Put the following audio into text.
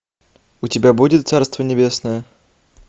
у тебя будет царство небесное